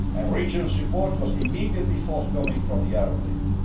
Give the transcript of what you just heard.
Regional support was immediately forthcoming from the Arab League.